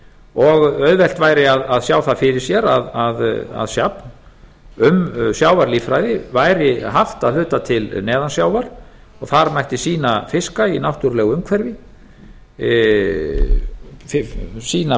og auðvelt væri að sjá það fyrir sér að safn um sjávarlíffræði væri haft að hluta til neðan sjávar og þar mætti sýna fiska í náttúrulegu umhverfi sýna